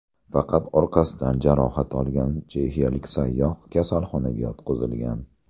Faqat orqasidan jarohat olgan chexiyalik sayyoh kasalxonaga yotqizilgan.